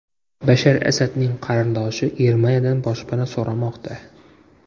Bashar Asadning qarindoshi Germaniyadan boshpana so‘ramoqda.